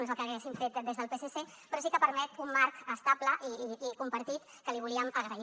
no és el que haguéssim fet des del psc però sí que permet un marc estable i compartit que li volíem agrair